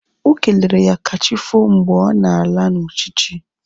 Okelere ya kachifo mgbe ọ na-ala na uchichi